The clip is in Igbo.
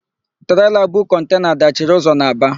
Treela bu kọntena dachiri ụzọ n'Aba.